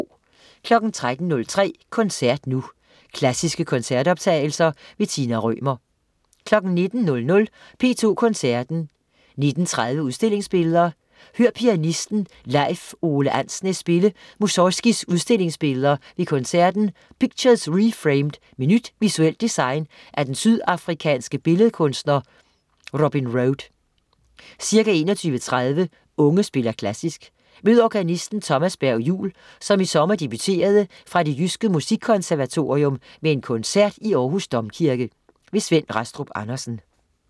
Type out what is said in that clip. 13.03 Koncert nu. Klassiske koncertoptagelser. Tina Rømer 19.00 P2 Koncerten. 19.30 Udstillingsbilleder. Hør pianisten Leif Ove Andsnes spille Mussorgskijs Udstillingsbilleder ved koncerten Pictures Reframed med nyt visuelt design af den sydafrikanske billedkunstner Robin Rhode. Ca. 21.30 Unge spiller Klassisk. Mød organisten Thomas Berg-Juul, som i sommer debuterede fra Det Jyske Musikkonservatorium med en koncert i Århus Domkirke. Svend Rastrup Andersen